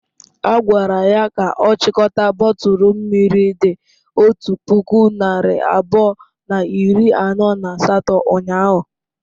Ha gwara ya ka ọ chịkọta bọtụlụ mmiri dị otu puku narị abụọ na iri anọ na asatọ ụnyahụ.